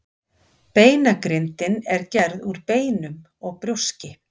Beinagrindin er gerð úr beinum og brjóski.